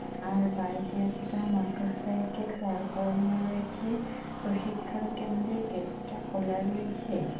আর বাইকে একটা মোটরসাইকেল দাঁড় করানো রয়েছে প্রশিক্ষণ কেন্দ্রের গেট টা খোলা রয়েছে--